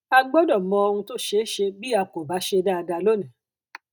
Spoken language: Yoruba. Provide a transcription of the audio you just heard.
a gbọdọ mọ ohun tó ṣeé ṣe bí a kò bá ṣe dáadáa lónìí